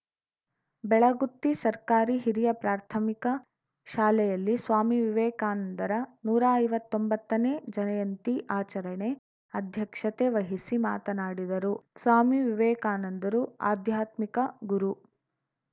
ಬೆಳಗುತ್ತಿ ಸರ್ಕಾರಿ ಹಿರಿಯ ಪ್ರಾಥಮಿಕ ಶಾಲೆಯಲ್ಲಿ ಸ್ವಾಮಿ ವಿವೇಕಾನಂದರ ನೂರಾ ಐವತ್ತೊಂಬತ್ತನೇ ಜಯಂತಿ ಆಚರಣೆ ಅಧ್ಯಕ್ಷತೆ ವಹಿಸಿ ಮಾತನಾಡಿದರು ಸ್ವಾಮಿ ವಿವೇಕಾನಂದರು ಆಧ್ಯಾತ್ಮಿಕ ಗುರು